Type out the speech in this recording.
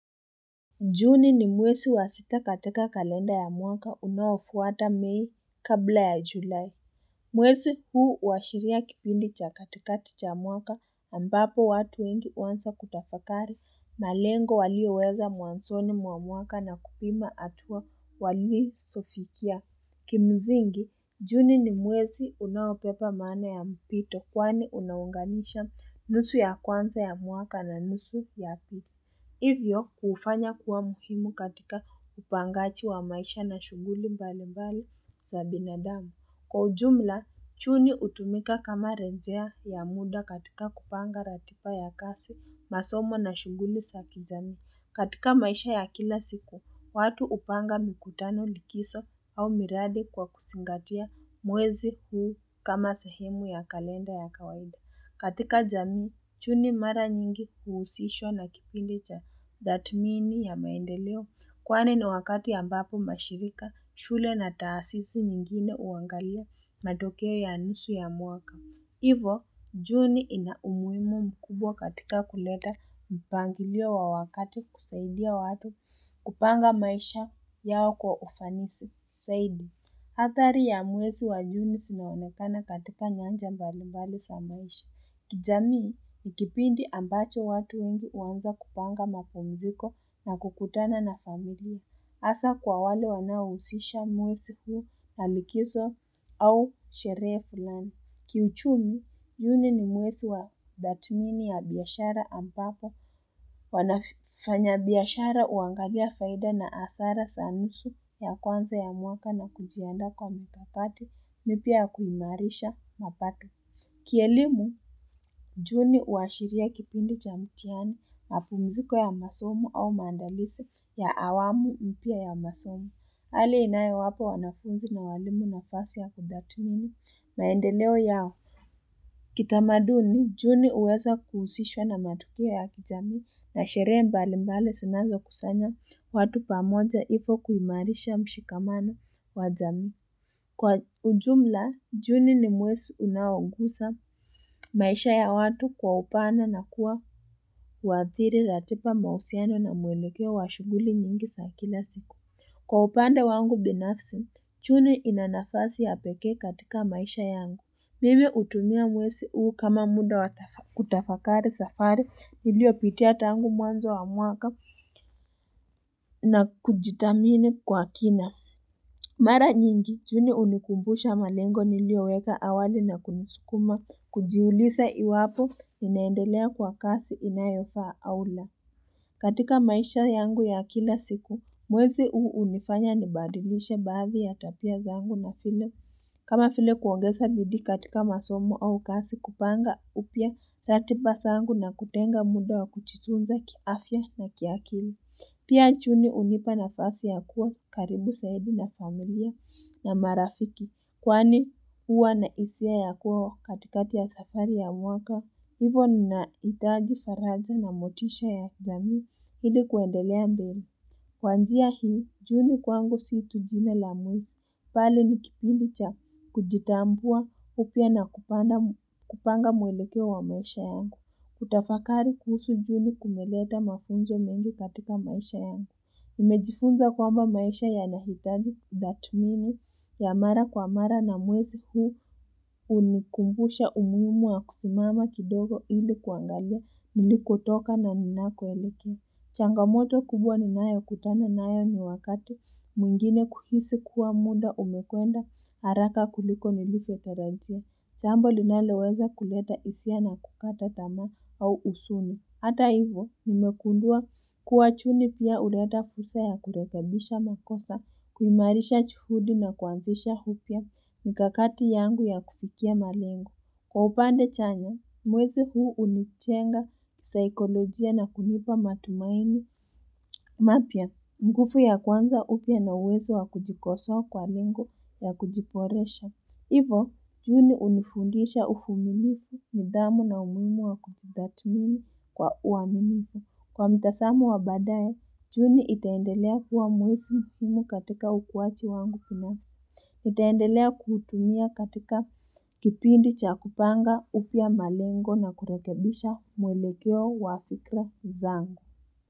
Juni ni mwezi wa sita katika kalenda ya mwaka unaofuata mei kabla ya julai. Mwezi huu huashiria kipindi cha katikati cha mwaka ambapo watu wengi huanza kutafakari malengo walioweka mwanzoni mwa mwaka na kupima hatua walizofikia. Kimsingi, juni ni mwezi unaobeba maana ya mpito kwani unaunganisha nusu ya kwanza ya mwaka na nusu ya pili. Hivyo, huufanya kuwa muhimu katika upangaji wa maisha na shuguli mbalimbali za binadamu. Kwa ujumla, juni hutumika kama rejea ya muda katika kupanga ratiba ya kazi, masomo na shughuli za kijamii. Katika maisha ya kila siku, watu hupanga mikutano likizo au miradi kwa kuzingatia mwezi huu kama sehemu ya kalenda ya kawaida. Katika jamii, juni mara nyingi huhusishwa na kipindi cha thatmini ya maendeleo. Kwani ni wakati ambapo mashirika, shule na taasisi nyingine huangalia matokeo ya nusu ya mwaka. Hivyo, juni ina umuhimu mkubwa katika kuleta mpangilio wa wakati kusaidia watu kupanga maisha yao kwa ufanisi. Zaidi, athari ya mwezi wa juni zimeonekana katika nyanja mbali mbali za maisha. Kijamii, ni kipindi ambacho watu wengi huanza kupanga mapumziko na kukutana na familia. Hasa kwa wale wanaohusisha mwezi huu na likizo au sherehe fulani. Kiuchumi, juni ni mwezi wa tathmini ya biashara ambapo wanafanyabiashara huangalia faida na hasara za nusu ya kwanza ya mwaka na kujiandaa kwa mikakato ni pia ya kuimarisha mapato. Kielimu, juni huashiria kipindi cha mitihani mapumziko ya masomo au maandalizi ya awamu na pia ya masomo. Hali inayowapa wanafunzi na walimu nafasi ya kutathmini maendeleo yao kitamaduni juni huweza kuhusishwa na matukio ya kijamii na sherehe mbalimbali zinazokusanya watu pamoja hivo kuimarisha mshikamano wa jamii kwa ujumla juni ni mwezi unayoguza maisha ya watu kwa upana na kuadhiri ratiba mahusiano na mwelekeo wa shughuli nyingi za kila siku Kwa upande wangu binafsi, juni ina nafasi ya pekee katika maisha yangu. Mimi hutumia mwezi huu kama muda kutafakari safari niliyopitia tangu mwanzo wa mwaka na kujitamini kwa kina. Mara nyingi, juni hunikumbusha malengo niliyo weka awali na kunisukuma kujiuliza iwapo ninaendelea kwa kasi inayofaa au la. Katika maisha yangu ya kila siku, mwezi huu hunifanya nibadilishe baadhi ya tabia zangu na vile. Kama vile kuongeza bidii katika masomo au kazi kupanga upya ratiba zangu na kutenga muda wa kujifunza kiafia na ki akili. Pia juni hunipa nafasi ya kuwa karibu zaidi na familia na marafiki kwani huwa na hisia ya kuwa katikati ya safari ya mwaka hivyo nahitaji faraja na motisha ya kijamii ili kuendelea mbele. Kwa njia hii, juni kwangu si itu jina la mwezi, bali ni kipindi cha kujitambua upya na kupanga mwelekeo wa maisha yangu. Kutafakari kuhusu juni kumeleta mafunzo mengi katika maisha yangu. Nimejifunza kwamba maisha yanahitaji tathmini ya mara kwa mara na mwezi huu hunikumbusha umuhimu wa kusimama kidogo ili kuangalia nilikotoka na ninakoelekea. Changamoto kubwa ninayo kutana nayo ni wakati mwingine kuhisi kuwa muda umekwenda haraka kuliko nilivyotarajia. Jambo linaloweza kuleta hisia na kukata tamaa au huzuni. Hata hivyo, nimegundua kuwa juni pia huleta fursa ya kurekebisha makosa, kuimarisha juhudi na kuanzisha upya mikakati yangu ya kufikia malengo. Kwa upande chanya, mwezi huu hunijenga saikolojia na kunipa matumaini mapya nguvu ya kuanza upya na uwezo wa kujikosoa kwa lengo ya kujiboresha. Hivo, juni hunifundisha uvumilivu nidhamu na umuhimu wa kujitathmini kwa uaminifu. Kwa mitazamo wa badaye, juni itaendelea huwa mwezi muhimu katika ukuaji wangu binafsi. Nitaendelea kuutumia katika kipindi cha kupanga upya malengo na kurekebisha mwelekeo wa fikra zangu.